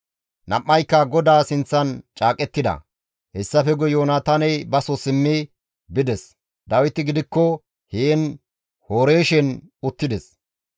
Nam7ayka GODAA sinththan caaqettida; hessafe guye Yoonataaney baso simmi bides; Dawiti gidikko heen Horeeshen uttides.